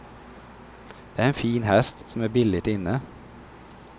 Det är en fin häst som är billigt inne.